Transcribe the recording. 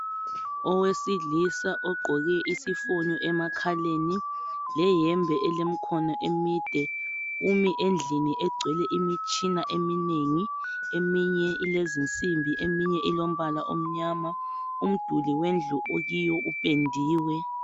Owesilisa ogqoke isifonyo emakhaleni leyembe elemikhono emide. Umi endlini egcwele imitshina eminengi, eminye ilezinsimbi, eminye ilombala omnyama. Umduli wendlu akuyo upendiwe.